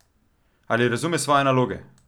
Ali razume svoje naloge?